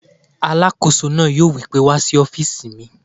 Alàkóso náà yóò wí pé "wá sí ọ́fìsì mi!"